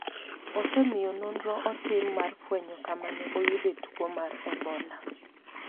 osemiyo nonro otim mar fwenyo kama ne oyude tuo mar ebola